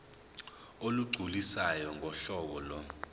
olugculisayo ngohlobo lo